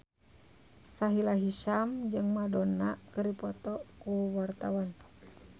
Sahila Hisyam jeung Madonna keur dipoto ku wartawan